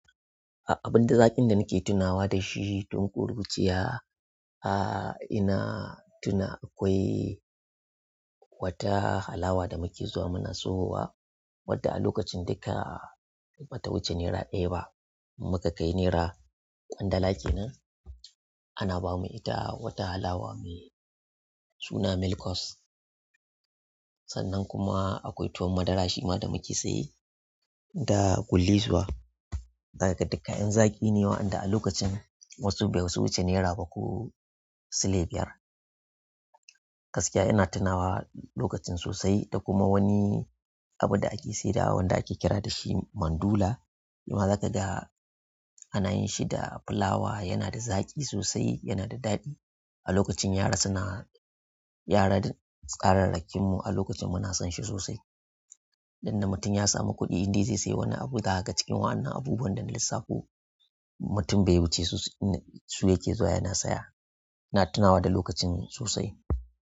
Abin dai zaƙin da nake tunawa da shi tun ƙuruciya, a ina tuna akwai wata halawa da muke zuwa muna siyo wa, wadda a lokacin duka bata wuce naira ɗaya ba. Muka kai naira ƙwandala kenan ana bamu ita wata halawa mai suna "Milkos." Sannan kuma akwai tuwon madara shima da muke siye da gullisuwa. Zakaga duka kayan zaki ne waɗanda a lokacin wasu bai wuce naira bah silai biyar. Gaskiya ina tunawa lokacin sosai da kuma wani abinda ake saidawa wanda ake kira dashi mandula. Shima zakaga ana yin shi da fulawa, yana da zaƙi sosai, yana da daɗi. A lokacin yara suna-- yara tsararrakin mu muna sonshi sosai idan na mutum ya samu kuɗi, indai zai sai wani abu daga cikin waɗannan abubuwan da na lissafo mutum bai wuce su, su yake zuwa yana siya. Ina tunawa da lokacin sosai.